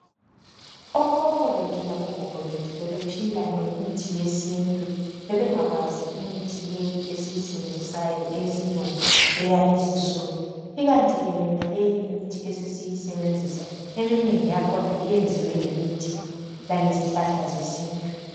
Okhokho bethu labogogo bethu bebephila ngemithi yesintu bebengakwazi imithi le esiyisebenzisayo eyesilungu eyalezinsuku ikanti ke yonaleyi esesiyisebenzisa eminengi yakhona iyenziwe ngemithi langezihlahla zesintu